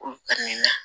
Olu ka nin na